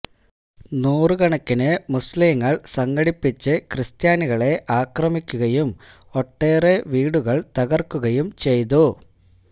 നൂറുകണക്കിന് മുസ്ലീങ്ങൾ സംഘടിപ്പിച്ച് ക്രിസ്ത്യാനികളെ അക്രമിക്കുകയും ഒട്ടേറെ വീടുകൾ തകർക്കുകയും ചെയ്തു